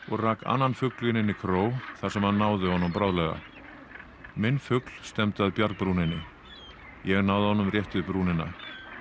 og rak annan fuglinn inn í kró þar sem hann náði honum bráðlega minn fugl stefndi að bjargbrúninni ég náði honum rétt við brúnina